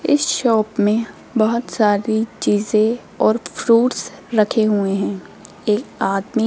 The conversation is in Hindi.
इस शॉप में बहुत सारी चीजें और फ्रूट्स रखे हुए हैं एक आदमी --